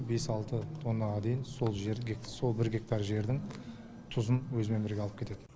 бес алты тоннаға дейін сол бір гектар жердің тұзын өзімен бірге алып кетеді